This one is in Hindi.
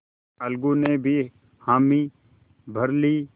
अलगू ने भी हामी भर ली